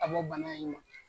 Ka bɔ bana in ma